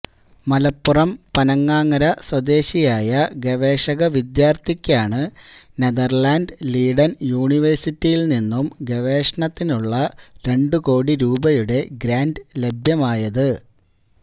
മലപ്പുറം പനങ്ങാങ്ങര സ്വദേശിയായ ഗവേഷക വിദ്യാർത്ഥിക്കാണ് നെതർലാന്റ് ലീഡൻ യൂണിവേഴ്സിറ്റിയിൽ നിന്നും ഗവേഷണത്തിനുള്ള രണ്ടു കോടി രൂപയുടെ ഗ്രാന്റ് ലഭ്യമായത്